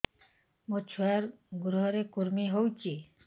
ମୋ ଛୁଆର୍ ଗୁହରେ କୁର୍ମି ହଉଚି